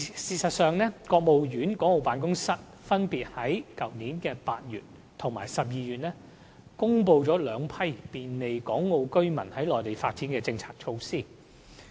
事實上，國務院港澳事務辦公室分別在去年8月及12月公布了兩批便利港澳居民在內地發展的政策措施。